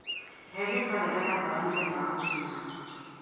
eheria karenda yakwa ya mũthenya wa njuma